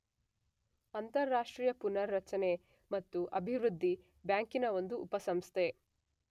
ಅಂತಾರಾಷ್ಟ್ರೀಯ ಪುನಾರರಚನೆ ಮತ್ತು ಅಭಿವೃದ್ಧಿ ಬ್ಯಾಂಕಿನ ಒಂದು ಉಪಸಂಸ್ಥೆ.